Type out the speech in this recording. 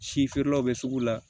Si feerelaw bɛ sugu la